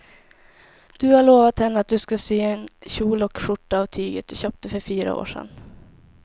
Du har lovat henne att du ska sy en kjol och skjorta av tyget du köpte för fyra år sedan.